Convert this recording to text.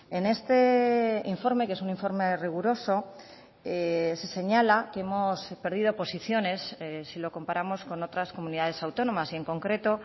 en este informe que es un informe riguroso se señala que hemos perdido posiciones si lo comparamos con otras comunidades autónomas y en concreto